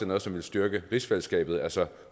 noget som ville styrke rigsfællesskabet altså